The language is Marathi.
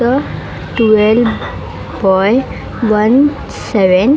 the twelve by one seven --